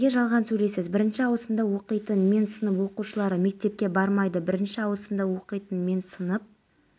дегенмен аталған мәселе қауіпсіздік кеңесінде қарастырылған жағдайда ғана қазақстан өзінің бітімгерлік күштерін қақтығыс аймақтарына жіберетін болады